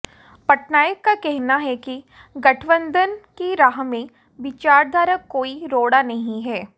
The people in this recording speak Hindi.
पटनायक का कहना है कि गठबंधन की राह में विचारधारा कोई रोड़ा नहीं है